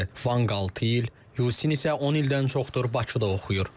Vanq 6 ildir, Yucin isə 10 ildən çoxdur Bakıda oxuyur.